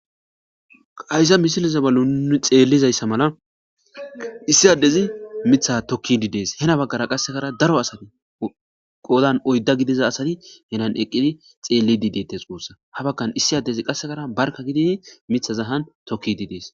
Haysa misiliza bolla nuni xeellizayssa mala issi addezi mitha tokkidi dees hena baggara qassekara daro asati qoodan oydda gidiza asati henan eqqidi xeellidi deettes uussa habakkan issi addezi qassekara barka gididi mitha zahan tokkidi dees